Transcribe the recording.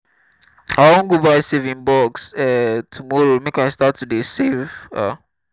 i wan go buy saving box um tomorrow make i start to dey save um